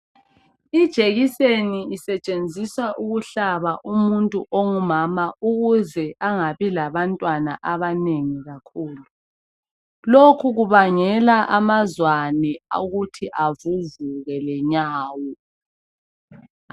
ijekiseni isetshenziswa ukuhlaba umuntu ongumama ukuze angabi labantwana abanengi kakhulu lokhu kubangela amazwane ukuthi avuvuke lenyawo